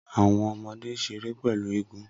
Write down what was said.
Awọn ọmọde n ṣere pẹlu eégún